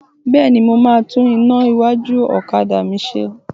Bẹ́ẹ̀ni, mo máa tún iná iwájú ọ̀kadà mi ṣe